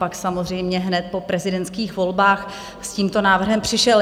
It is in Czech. Pak samozřejmě hned po prezidentských volbách s tímto návrhem přišel.